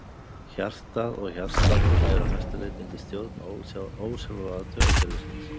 Hjartað og hjartsláttur eru að mestu leyti undir stjórn ósjálfráða taugakerfisins.